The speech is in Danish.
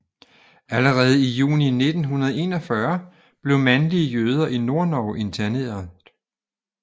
Allerede i juni 1941 blev mandlige jøder i Nordnorge interneret